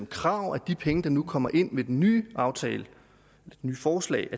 krav at de penge der nu kommer ind med den nye aftale det nye forslag